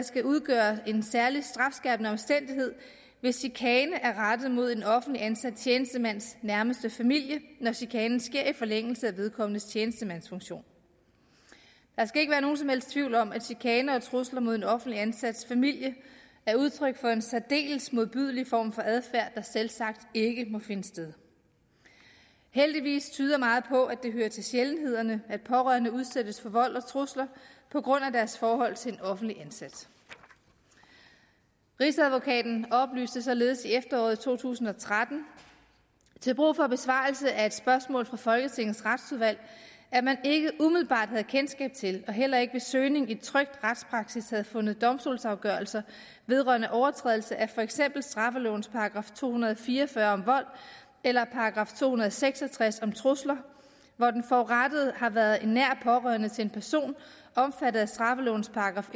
skal udgøre en særlig strafskærpende omstændighed hvis chikane er rettet mod en offentligt ansat tjenestemands nærmeste familie når chikanen sker i forlængelse af vedkommendes tjenestemandsfunktion der skal ikke være nogen som helst tvivl om at chikane og trusler mod en offentligt ansats familie er udtryk for en særdeles modbydelig form for adfærd der selvsagt ikke må finde sted heldigvis tyder meget på at det hører til sjældenhederne at pårørende udsættes for vold og trusler på grund af deres forhold til en offentligt ansat rigsadvokaten oplyste således i efteråret to tusind og tretten til brug for besvarelse af et spørgsmål fra folketingets retsudvalg at man ikke umiddelbart havde kendskab til og heller ikke ved søgning i trykt retspraksis havde fundet domstolsafgørelser vedrørende overtrædelse af for eksempel straffelovens § to hundrede og fire og fyrre om vold eller § to hundrede og seks og tres om trusler hvor den forurettede har været en nær pårørende til en person omfattet af straffelovens §